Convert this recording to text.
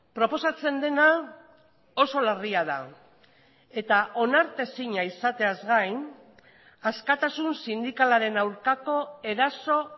proposatzen dena oso larria da eta onartezina izateaz gain askatasun sindikalaren aurkako eraso